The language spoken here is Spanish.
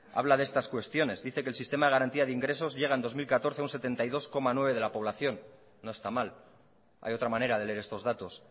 habla de estas cuestiones dice que el sistema de garantía de ingresos llega en dos mil catorce a un setenta y dos coma nueve de la población no está mal hay otra manera de leer estos datos